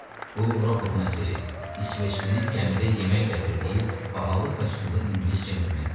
Bu Rukovun əsiri, isveçlinin gəmidə yemək gətirdiyi, bahalı kostyumlu ingilis centlmen idi.